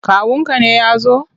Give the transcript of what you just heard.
Kawunka ne ya zo?